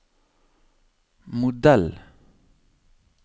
modell